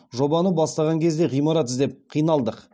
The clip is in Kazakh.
жобаны бастаған кезде ғимарат іздеп қиналдық